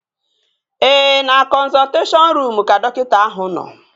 Ee, na kọnzọlteshọn ruum ka dọkịta ahụ nọ